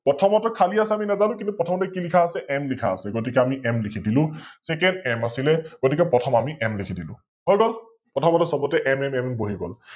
প্ৰথমতে খালি আছে আমি নেজানো, কিন্তু প্ৰথমতে কি লিখা আছে, M লিখা আছে, গতিকে আমি M লিখি দিলো । ত M আছিলে গতিকে প্ৰথম আমি লিখি দিলো । হৈ গল? প্ৰথমতে সৱতে MMM বহি গল